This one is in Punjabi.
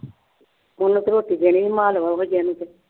ਉਹਨੂੰ ਤੇ ਰੋਟੀ ਦੇਣੀ ਵੀ ਮਾਨ ਵੱਡੇ ਨੂੰ ਤੇ